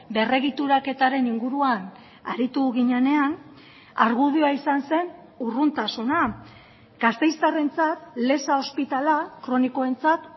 berregituraketaren inguruan aritu ginenean argudioa izan zen urruntasuna gasteiztarrentzat leza ospitalea kronikoentzat